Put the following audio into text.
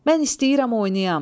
Mən istəyirəm oynayam.